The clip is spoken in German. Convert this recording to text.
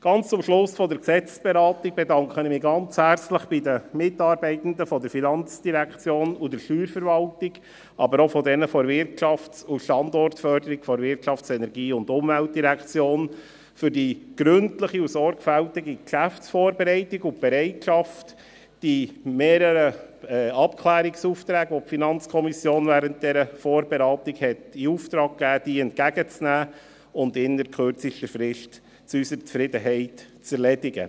Ganz zum Schluss der Gesetzesberatung bedanke ich mich ganz herzlich bei den Mitarbeitenden der FIN und der Steuerverwaltung, aber auch bei denjenigen der Wirtschafts- und Standortsförderung der WEU für die gründliche und sorgfältige Geschäftsvorbereitung sowie die Bereitschaft, mehrere Abklärungsaufträge, welche die FiKo während der Vorberatung in Auftrag gegeben hatte, entgegenzunehmen und innert kürzester Frist zu unserer Zufriedenheit zu erledigen.